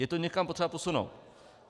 Je to někam potřeba posunout.